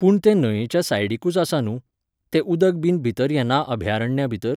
पूण ते न्हंयेच्या सायडीकूच आसा न्हू, तें उदक बीन भितर येना अभ्यारण्या भितर